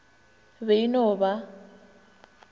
be e e no ba